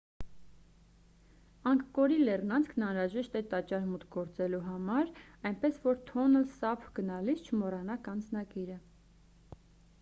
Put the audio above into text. անգկորի լեռնանցքն անհրաժեշտ է տաճար մուտք գործելու համար այնպես որ թոնլ սափ գնալիս չմոռանաք անձնագիրը